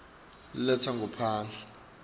letangaphandle